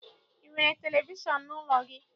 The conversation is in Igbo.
I nwere televishọn n'ụlọ gị?